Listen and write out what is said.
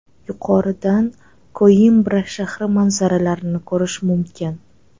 Yuqoridan Koimbra shahri manzaralarini ko‘rish mumkin.